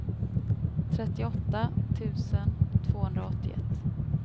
trettioåtta tusen tvåhundraåttioett